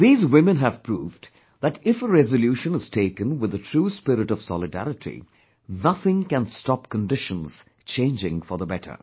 These women have proved that if a resolution is taken with the true spirit of solidarity, nothing can stop conditions changing for the better